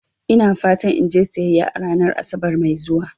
Ina fatan in je siyayya a ranar Asabar mai zuwa.